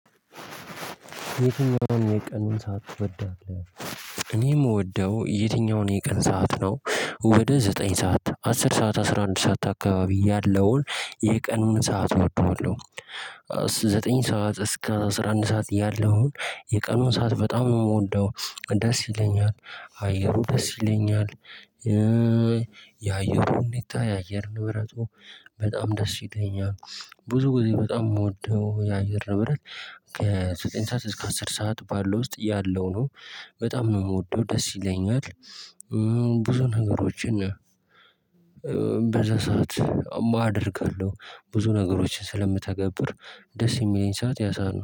የትኛውን የቀን ሰዓት ትወዳለህ? እኔ የሚወደው የትኛውን የቀን ሰዓት ነው። ወደ ዘጠኝ ሰዓት አስር ሰዓት አስራ አንድ ሰዓት አካባቢ ያለውን የቀኑን ሰዓት እወደዋለሁ። ዘጠኝ ሰዓት እስከ አስራ አንድ ሰዓት እያለሁ የቀኑን ሰዓት በጣም የምወደው ደስ ይለኛል አየሩ ደስ ይለኛል። የአየሩ ሁኔታ የአየር ንብረቱ በጣም ደስ ይለኛል። ብዙ ጊዜ በጣም የምወደው የአየር ንብረት ከዘጠኝ ሰዓት እስከ አስር ሰዓት ባለው ውስጥ ያለው ነው። በጣም ነው የምወደው ደስ ይለኛል። ብዙ ነገሮችን በዛ ሰዓት አደርጋለሁ ብዙ ነገሮችን ስለምተገብር ደስ የሚለኝ ሰዓት ያ ሰዓት ነው